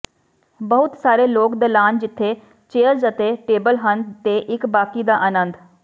ਬਹੁਤ ਸਾਰੇ ਲੋਕ ਦਲਾਨ ਜਿੱਥੇ ਚੇਅਰਜ਼ ਅਤੇ ਟੇਬਲ ਹਨ ਤੇ ਇੱਕ ਬਾਕੀ ਦਾ ਆਨੰਦ